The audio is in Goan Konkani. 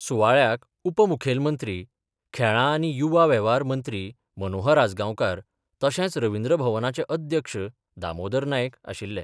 सुवाळ्याक उपमुखेलमंत्री, खेळां आनी युवा वेव्हार मंत्री मनोहर आजगांवकार, तशेच रविंद्र भवनाचे अध्यक्ष दामोदर नायक आशिल्ले.